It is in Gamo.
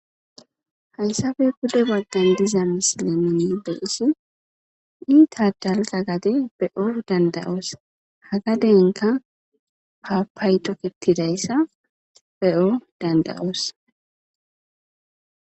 Hayssafe bude baggan diza misilemini be isi nita dalga gade be'o danda'oos hagadenka paapay toketidayssa be'o danda'oos.